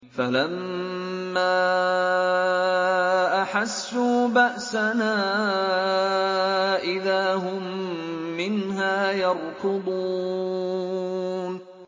فَلَمَّا أَحَسُّوا بَأْسَنَا إِذَا هُم مِّنْهَا يَرْكُضُونَ